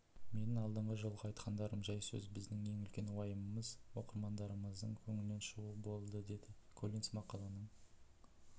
менің алдыңғы жолғы айтқандарым жай сөз біздің ең үлкен уайымымыз оқырмандарымыздың көңілінен шығу болдыдеді коллинс мақаланың